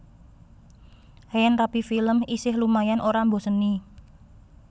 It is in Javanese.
Yen Rapi Films isih lumayan ora mboseni